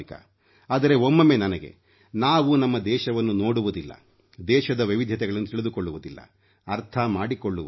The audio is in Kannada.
ಆದರೆ ಒಮ್ಮೊಮ್ಮೆ ನನಗೆ ನಾವು ನಮ್ಮ ದೇಶವನ್ನು ನೋಡುವುದಿಲ್ಲ ದೇಶದ ವೈವಿಧ್ಯತೆಗಳನ್ನು ತಿಳಿದುಕೊಳ್ಳುವುದಿಲ್ಲ ಅರ್ಥ ಮಾಡಿಕೊಳ್ಳುವುದಿಲ್ಲ